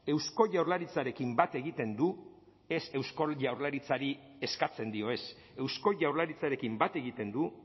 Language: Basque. eusko jaurlaritzarekin bat egiten du ez eusko jaurlaritzari eskatzen dio ez eusko jaurlaritzarekin bat egiten du